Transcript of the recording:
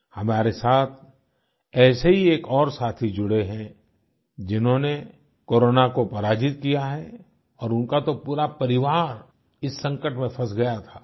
हमारे साथ ऐसे ही एक और साथी जुड़े हैं जिन्होंने कोरोना को पराजित किया है और उनका तो पूरा परिवार इस संकट में फँस गया था